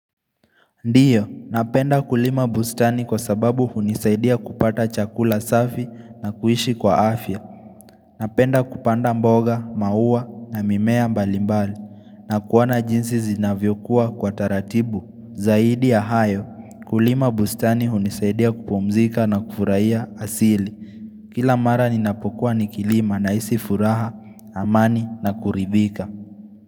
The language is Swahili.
Ndio, napenda kulima bustani kwa sababu hunisaidia kupata chakula safi na kuishi kwa afya Napenda kupanda mboga, mauwa na mimea mbalimbali na kuona jinsi zinavyokuwa kwa taratibu. Zaidi ya hayo, kulima bustani hunisaidia kupomzika na kufurahia asili Kila mara ninapokuwa nikilima nahisi furaha, amani na kuridhika.